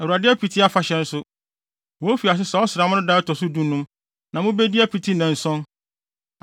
Awurade Apiti Afahyɛ nso, wofi ase saa ɔsram no da a ɛto so dunum; na mubedi apiti nnanson.